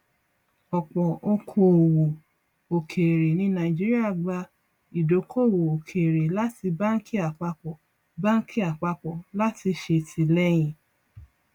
ọpọ òkòowò òkèèrè ní nàìjíríà gba ìdókòwò òkèèrè láti báńkì àpapọ báńkì àpapọ láti ṣètìlẹyìn